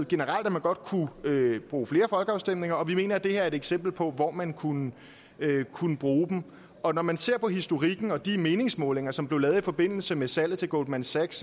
generelt godt kunne bruge flere folkeafstemninger og vi mener at det her er et eksempel på hvor man kunne kunne bruge dem og når man ser på historikken og de meningsmålinger som blev lavet i forbindelse med salget til goldman sachs